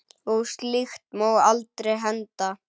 Og slíkt má aldrei henda.